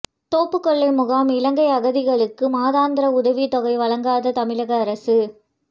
தோப்புக்கொல்லை முகாம் இலங்கை அகதிகளுக்கு மாதாந்திர உதவித்தொகை வழங்காத தமிழக அரசு